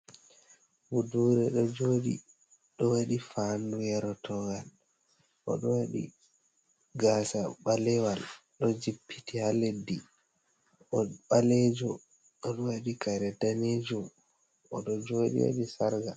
Budure ɗo joɗi o ɗo waɗi fanu yerotowal, o ɗo waɗi gasa ɓalewal ɗo jippiti ha leddi, o ɓalejo o ɗo waɗi kare danejum, o ɗo joɗi waɗi sarqa.